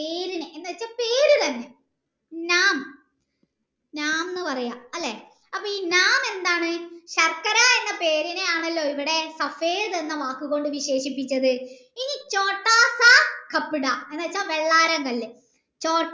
എന്ന് പറയാ അല്ലെ അപ്പൊ ഈ എന്താണ് ശർക്കര എന്ന പേരിനെ ആണല്ലോ ഇവിടെ എന്ന് വാക് കൊണ്ട് വിശേഷിപിച്ചത് ഇനി എന്ന് വെച്ചാൽ വെള്ളാരം കല്ല്